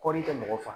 Kɔɔri kɛ mɔgɔ faga